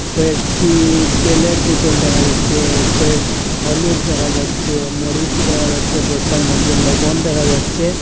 কয়েকটি তেলের বোতল দেখা যাচ্ছে কয়েকট হলুদ দেখা যাচ্ছে মরিচ দেখা যাচ্ছে বস্তার মইদ্যে লবণ দেখা যাচ্ছে।